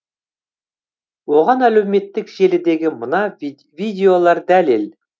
оған әлеуметтік желідегі мына видеолар дәлел